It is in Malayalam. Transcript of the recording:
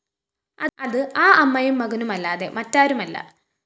അത്‌ ആ അമ്മയും മകനുമല്ലാതെ മറ്റാരുമല്ല